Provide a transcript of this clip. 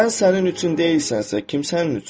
Sən sənin üçün deyilsənsə, kim sənin üçündür?